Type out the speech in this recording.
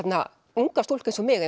unga stúlku eins og mig